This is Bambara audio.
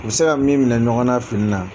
U bɛ se ka min minɛ ɲɔgɔn na fini na